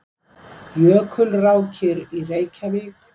Jökulrákir í Reykjavík.